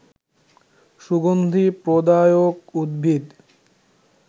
সুগন্ধি প্রদায়ক উদ্ভিদ